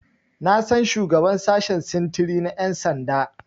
Na san shugaban sashen sintiri na Ƴan sanda.